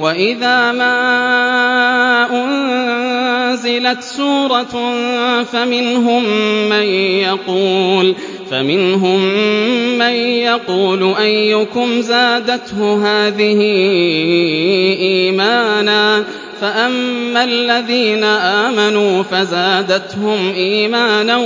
وَإِذَا مَا أُنزِلَتْ سُورَةٌ فَمِنْهُم مَّن يَقُولُ أَيُّكُمْ زَادَتْهُ هَٰذِهِ إِيمَانًا ۚ فَأَمَّا الَّذِينَ آمَنُوا فَزَادَتْهُمْ إِيمَانًا